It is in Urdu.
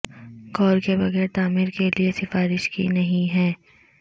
غور کے بغیر تعمیر کے لئے سفارش کی نہیں ہے